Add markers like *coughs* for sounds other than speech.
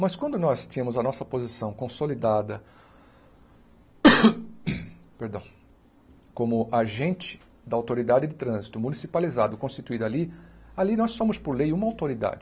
Mas quando nós tínhamos a nossa posição consolidada *coughs* perdão, como agente da autoridade de trânsito municipalizado, constituído ali, ali nós somos por lei uma autoridade.